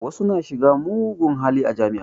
Wasu na shiga mugun hali a jami'a